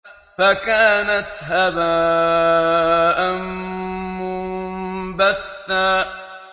فَكَانَتْ هَبَاءً مُّنبَثًّا